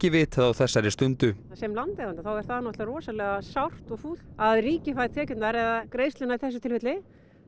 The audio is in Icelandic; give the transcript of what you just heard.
vitað á þessari stundu ég sem landeiganda það rosalega sárt og fúlt að ríkið fær tekjurnar eða greiðsluna í þessu tilfelli